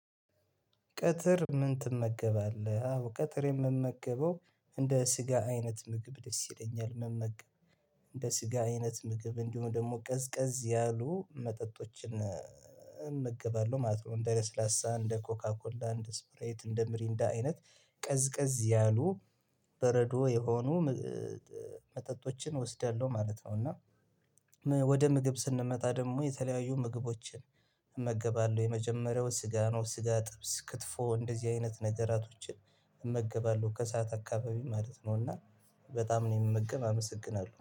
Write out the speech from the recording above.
"ቀጥር ምን ትመገባለህ?" አዎ፤ ቀጥር የምመገበው እንደ ስጋ አይነት ምግብ ደስ ይለኛል መመገብ። እንደ ስጋ አይነት ምግብ እንዲሁም ደግሞ ቀዝቀዝ ያሉ መጠጦችን እመገባለ ማለት ነው፤ እንደ ለስላሳ፣ እንደ ኮካ ኮላ፣ እንደ ስፕራይት፣ እንደ ምሪንዳ አይነት ቀዝቀዝ ያሉ በረዶ የሆኑ መጠጦችን እወስዳለሁ ማለት ነው። እና ወደ ምግብ ስንመጣ ደግሞ፤ የተለያዩ ምግቦችን እመገባለሁ። የመጀመሪያው ስጋ ነው። ስጋ፣ ጥብስ፣ ክትፎ እንደዚህ አይነት ነገራቶችን እመገባለሁ። ከሰአት አካባቢ ማለት ነው። እና በጣም ነው የምመገብ አመሰግናለሁ።